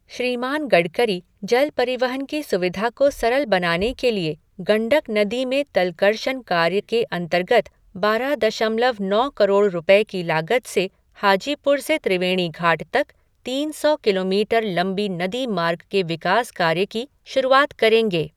श्रीमान गडकरी जल परिवहन की सुविधा को सरल बनाने के लिए गंडक नदी में तलकर्षण कार्य के अंतर्गत बारह दशमलव नौ करोड़ रुपये की लागत से हाजीपुर से त्रिवेणी घाट तक तीन सौ किलोमीटर लंबी नदी मार्ग के विकास कार्य की शुरुआत करेंगे।